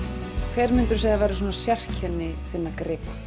hver myndirðu segja að væru sérkenni þinna gripa